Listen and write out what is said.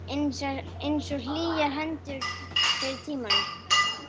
Einsog hlýjar hendurnar fyrr í tímanum.